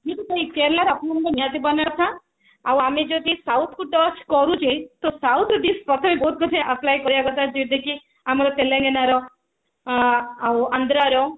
ମୁଁ ତ କହିବି କେରଳା ର ଅପମ ଆମକୁ ନିହାତି ବନେଇବା କଥା ଆଉ ଆମେ ଯଦି south କୁ touch କରୁଚେ ତ south ର dish ପ୍ରଥମେ ବହୁତ କିଛି apply କରିବା କଥା ଜେନ୍ତି କି ଆମର ତେଲେଙ୍ଗାନାର ଆନ୍ଧ୍ରାର